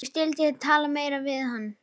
Ég skyldi ekki tala meira við hann.